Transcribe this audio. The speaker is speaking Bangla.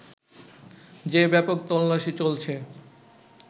যে ব্যাপক তল্লাশি চলছে